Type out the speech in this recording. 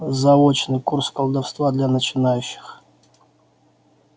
заочный курс колдовства для начинающих